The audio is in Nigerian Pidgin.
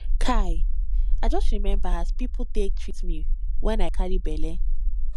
kai i just remember as pipu take treat me wen i carry belle